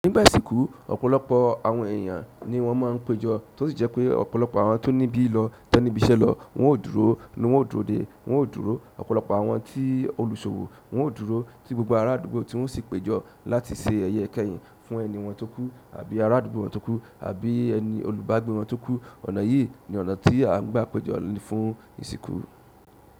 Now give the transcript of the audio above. Nígbà ìsìnkú ọ̀pọ̀lọpọ̀ àwọn ẹyan ni wọ́n maa ń péjọ, tó sì jẹ́ pé ọ̀pọ̀lọpọ̀ àwọn tó ní ibi lọ to níbí iṣẹ́ lọ, wọ́n ó dúró, ni wọ́n ó dúró dè, wọ́n ó dúró. Ọ̀pọ̀lọpọ̀ àwọn tí olùṣọwọ́ wọ́n ó dúró tí gbogbo ará àdúgbò tí wọ́n sì péjọ láti se ẹyẹ kẹ́yìn fún ẹni wọn tó kú àbí ará àdúgbò wọn tó kú àbí ẹni olùbágbé wọn tó kú. Ọ̀nà yìí ni ọ̀nà tí à ń gbá péjọ fún ìsìnkú.